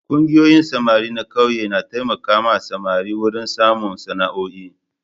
Ƙungiyoyin samari na ƙauyuka na taimaka samari wurin samun sana'oi.